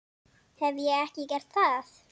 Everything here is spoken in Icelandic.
Hef ég ekki gert það?